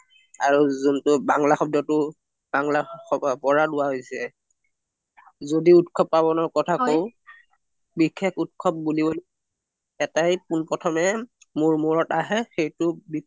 আৰু যোনটো বাংলা শব্দটো বাংলাৰ পৰা লোৱা হৈছে যদি উৎসৱ পাৰবনৰ কথা কওঁ বিষেস উৎসৱ বুলি এটাই কুল প্ৰথমে মোৰ মুৰত আহে সেইটো